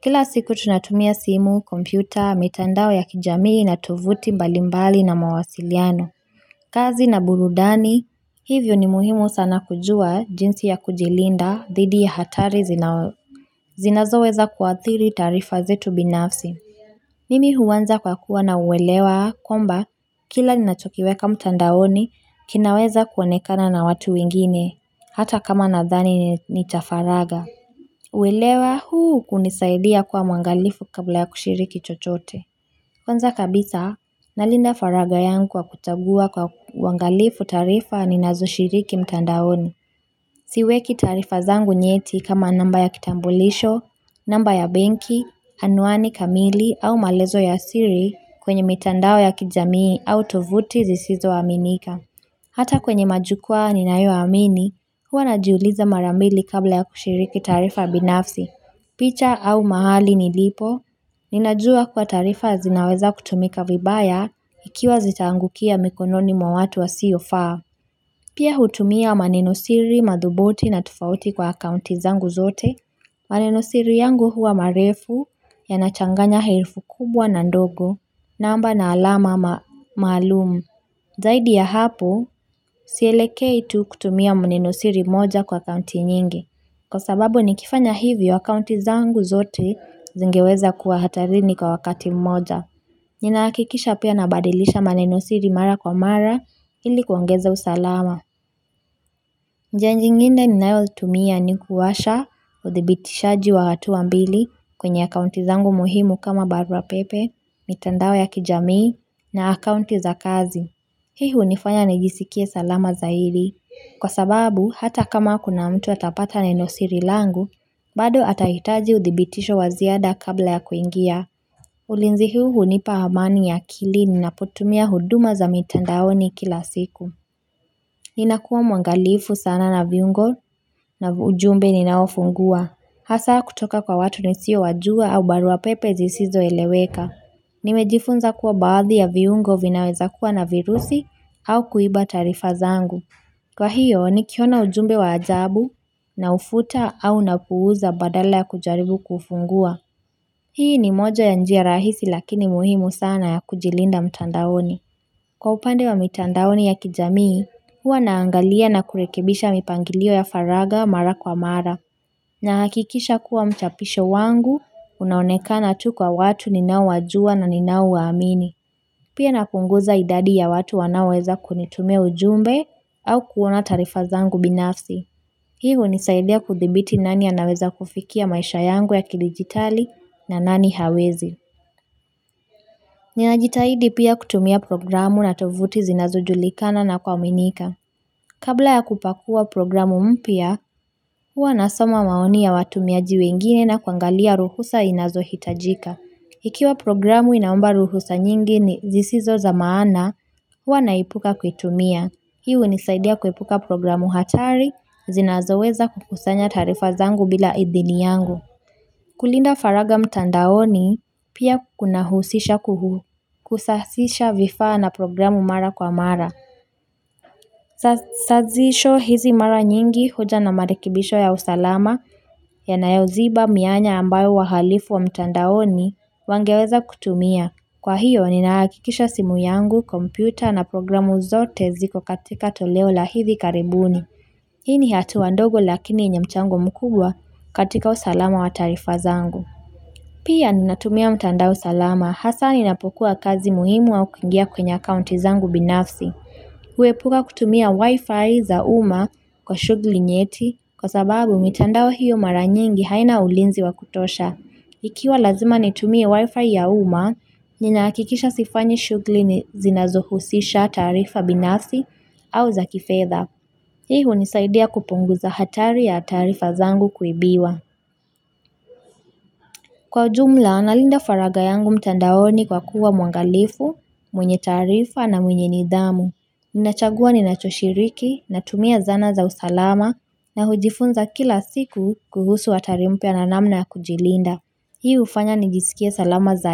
Kila siku tunatumia simu, kompyuta, mitandao ya kijamii na tovuti mbalimbali na mawasiliano kazi na burudani. Hivyo ni muhimu sana kujua jinsi ya kujilinda dhidi ya hatari zinazoweza kuathiri taarifa zetu binafsi Mimi huanza kwa kuwa na uelewa kwamba kila ninachokiweka mtandaoni kinaweza kuonekana na watu wengine hata kama nadhani nitafaraga. Uelewa huu hunisaidia kuwa mwangalifu kabla ya kushiriki chochote. Kwanza kabisa nalinda faraga yangu kwa kuchagua kwa uangalifu taarifa ninazoshiriki mtandaoni. Siweki taarifa zangu nyeti kama namba ya kitambulisho, namba ya benki, anwani kamili au maelezo ya siri kwenye mitandao ya kijamii au tovuti zisizoaminika. Hata kwenye majukwaa ninayoyamini, huwa najiuliza mara mbili kabla ya kushiriki taarifa binafsi. Picha au mahali nilipo, ninajua kuwa taarifa zinaweza kutumika vibaya ikiwa zitaangukia mikononi mwa watu wasiofaa. Pia hutumia manenosiri madhubuti na tofauti kwa akaunti zangu zote, manenosiri yangu huwa marefu yanachanganya herufi kubwa na ndogo, namba na alama maalumu. Zaidi ya hapo, sielekei tu kutumia nenosiri moja kwa akaunti nyingi. Kwa sababu nikifanya hivi akaunti zangu zote zingeweza kuwa hatarini kwa wakati moja. Ninahakikisha pia nabadilisha manenosiri mara kwa mara ili kuongeza usalama. Njia nyingine ninayotumia ni kuwasha uthibitishaji wa hatua mbili kwenye akaunti zangu muhimu kama barua pepe, mitandao ya kijamii, na akaunti za kazi Hii hunifanya nijisikie salama zaidi kwa sababu hata kama kuna mtu atapata nenosiri siri langu, bado atahitaji uthibitisho wa ziada kabla ya kuingia ulinzi huu hunipa amani ya akili ninapotumia huduma za mitandaoni kila siku Ninakuwa mwangalifu sana na viungo na ujumbe ninaofungua. Hasa kutoka kwa watu nisiowajua au barua pepe zisizoeleweka. Nimejifunza kuwa baadhi ya viungo vinaweza kuwa na virusi au kuiba taarifa zangu. Kwa hiyo nikiona ujumbe wa ajabu naufuta au napuuza badala ya kujaribu kufungua. Hii ni moja ya njia rahisi lakini muhimu sana ya kujilinda mtandaoni. Kwa upande wa mitandaoni ya kijamii, huwa naangalia na kurekebisha mipangilio ya faraga mara kwa mara. Nahakikisha kuwa mchapisho wangu, unaonekana tu kwa watu ninaowajua na ninaowaamini. Pia napunguza idadi ya watu wanaoweza kunitumia ujumbe au kuona taarifa zangu binafsi. Hii hunisaidia kuthibiti nani anaweza kufikia maisha yangu ya kidijitari na nani hawezi. Ninajitahidi pia kutumia programu na tovuti zinazojulikana na kuaminika. Kabla ya kupakua programu mpya, huwa nasoma maoni ya watumiaji wengine na kuangalia ruhusa inayohitajika. Ikiwa programu inaomba ruhusa nyingi ni zisizo za maana, huwa naepuka kuitumia. Hii hunisaidia kuepuka programu hatari, zinazoweza kukusanya taarifa zangu bila idhini yangu. Kulinda faraga mtandaoni pia kunahusisha kusasisha vifaa na programu mara kwa mara Sazisho hizi mara nyingi huja na marekebisho ya usalama yanayoziba mianya ambayo wa halifu wa mtandaoni wangeweza kutumia. Kwa hiyo, ninahakikisha simu yangu, kompyuta na programu zote ziko katika toleo la hivi karibuni Hii ni hatua ndogo lakini yenye mchango mkubwa katika usalama wa taarifa zangu Pia ninatumia mtandao salama, hasa ninapokuwa kazi muhimu au kuingia kwenye akaunti zangu binafsi. Huepuka kutumia wifi za uma kwa shughuli nyeti kwa sababu mitandao hiyo mara nyingi haina ulinzi wa kutosha. Ikiwa lazima nitumie wifi ya uma, ninahakikisha sifanyi shughuli zinazohusisha taarifa binafsi au za kifedha. Hii hunisaidia kupunguza hatari ya taarifa zangu kuibiwa. Kwa ujumla, nalinda faraga yangu mtandaoni kwa kuwa mwangalifu, mwenye taarifa na mwenye nidhamu. Ninachagua ninachoshiriki, natumia zana za usalama na hujifunza kila siku kuhusu hatari mpya na namna ya kujilinda. Hii hufanya nijisikie salama zaidi.